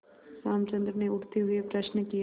रामचंद्र ने उठते हुए प्रश्न किया